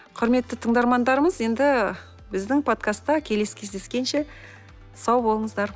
құрметті тыңдармандарымыз енді біздің подкастта келесі кездескенше сау болыңыздар